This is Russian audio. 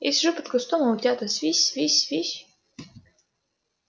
я сижу под кустом а утята свись свись свись